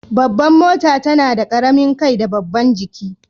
Babban mota tana da karamin kai da babban jiki.